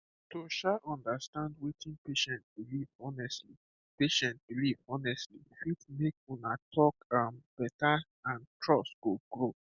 to um understand wetin patient believe honestly patient believe honestly fit make una talk um better and trust go grow